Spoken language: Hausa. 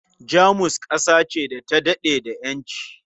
Jamus ƙasa ce da ta daɗe da ƴanci